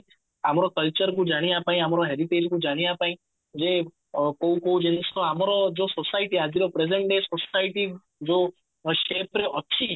ଆମର culture କୁ ଜାଣିବା ପାଇଁ ଆମର heritage କୁ ଜାଣିବା ପାଇଁ ଇଏ କୋଉ କୋଉ ଜିନିଷ ଆମର ଯୋଉ society ଆଜିର present day society ଯୋଉ shape ରେ ଅଛି